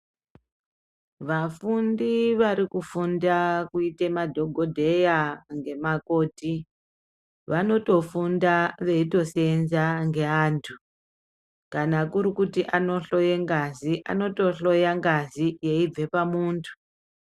Vafundi varikufunda kuita madhogobheya ngemakoti. Vanotofunda veitosenza ngeantu kana kurikuti anohloye ngazi anotohloya ngazi aibve pamuntu.